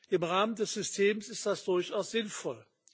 Im Rahmen des Systems ist das durchaus sinnvoll.